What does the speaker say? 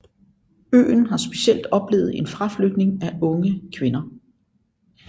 Øen har specielt oplevet en fraflytning af unge kvinder